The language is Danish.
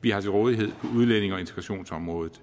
vi har til rådighed på udlændinge og integrationsområdet